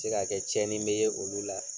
Se ka kɛ tiɲɛnen bɛ ye olu la.